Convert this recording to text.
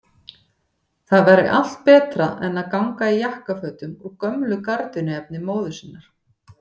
Það væri allt betra en að ganga í jakkafötum úr gömlu gardínuefni móður sinnar!